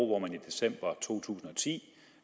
hvor man i december to tusind og ti